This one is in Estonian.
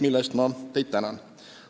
Selle eest aitäh!